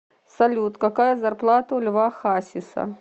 салют какая зарплата у льва хасиса